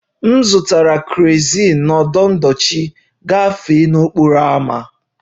M zụtara kerozin n'ọdụ ndochi gafee n'okporo ámá